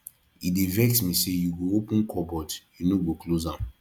e dey vex me sey you go open cupboard you no go close am